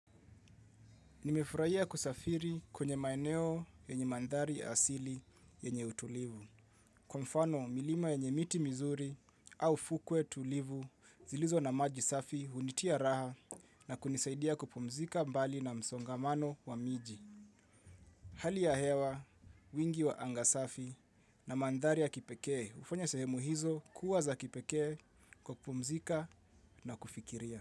Nimefurahia kusafiri kwenye maeneo yenye mandhari asili yenye utulivu. Kwa mfano, milima yenye miti mizuri au fukwe tulivu zilizo na maji safi hunitia raha na kunisaidia kupumzika mbali na msongamano wa miji. Hali ya hewa, wingi wa anga safi na mandhari ya kipekee hufanya sehemu hizo kuwa za kipekee kwa kupumzika na kufikiria.